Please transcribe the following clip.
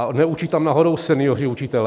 A neučí tam náhodou senioři učitelé?